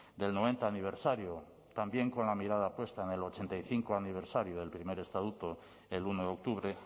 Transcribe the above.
del noventa aniversario también con la mirada puesta en el ochenta y cinco aniversario del primer estatuto el uno de octubre